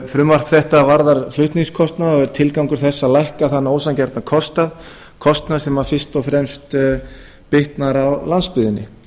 frumvarp þetta varðar flutningskostnað og er tilgangur þess að lækka þann ósanngjarna kostnað sem fyrst og fremst bitnar á landsbyggðinni